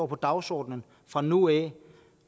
på dagsordenen fra nu af